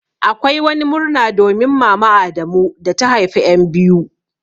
Akwai wani murna domin mama adamu da ta haifa en biyu.